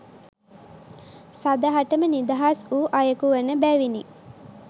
සදහටම නිදහස් වූ අයෙකු වන බැවිනි.